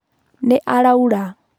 Nĩ araura.